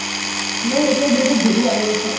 মোৰ এতিয়া যিহেতু বিহু আহি আছে